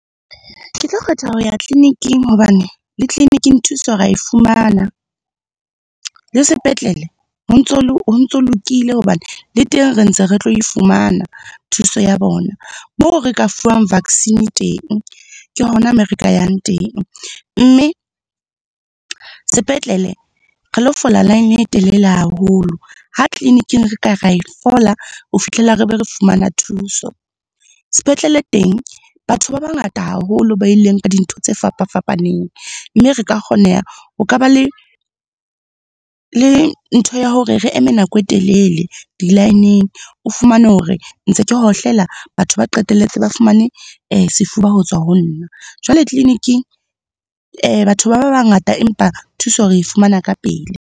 Ke tlo kgetha ho ya tleliniking hobane le tleliniking thuso rea e fumana. Le sepetlele ho ntso lokile hobane le teng re ntse re tlo e fumana thuso ya bona. Moo re ka fuwang vaccine teng, ke hona moo re ka yang teng. Mme sepetlele, re lo fola laene e telele haholo, ha tleliniking re ka ra e fola ho fihlela re be re fumana thuso. Sepetlele teng, batho ba bangata haholo ba ileng ka dintho tse fapa-fapaneng, mme re ka kgoneha. Ho ka ba le ntho ya hore re eme nako e telele di laeneng, o fumane hore ntse ke hohlela batho ba qetelletse ba fumane sefuba ho tswa honna. Jwale tleliniking, batho ba ba bangata empa thuso re e fumana ka pele.